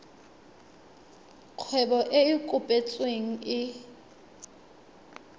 kgwebo e e kopetsweng e